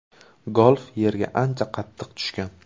Golf yerga ancha qattiq tushgan.